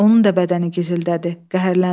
Onun da bədəni gizildədi, qəhərləndi.